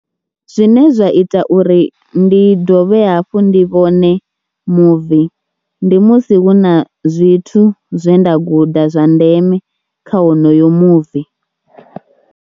Zwine zwa ita uri ndi dovhe hafhu ndi vhone muvi ndi musi hu na zwithu zwe nda guda zwa ndeme kha wonoyo muvi.